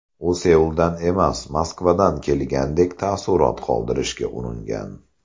U Seuldan emas, Moskvadan kelgandek taassurot qoldirishga uringan.